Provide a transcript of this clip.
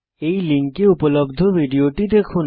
এই লিঙ্কে উপলব্ধ ভিডিওটি দেখুন